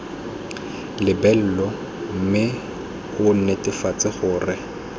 lebelo mme o netefatse gore